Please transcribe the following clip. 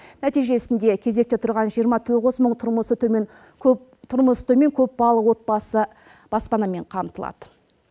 нәтижесінде кезекте тұрған жиырма тоғыз мың тұрмысы төмен көпбалалы отбасы баспанамен қамтылады